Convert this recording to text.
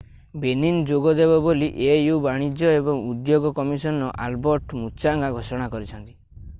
Benin ଯୋଗ ଦେବ ବୋଲି au ବାଣିଜ୍ୟ ଏବଂ ଉଦ୍ୟୋଗ କମିଶନର ଆଲବର୍ଟ ମୁଚାଙ୍ଗା ଘୋଷଣା କରିଛନ୍ତି